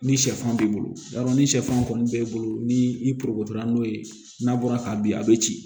Ni sɛfan b'i bolo i b'a dɔn ni sɛfan kɔni b'e bolo ni i n'o ye n'a bɔra ka bin a be ci